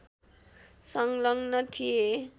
संलग्न थिए